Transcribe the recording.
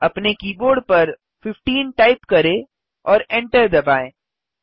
अपने कीबोर्ड पर 15 टाइप करें और एन्टर दबाएँ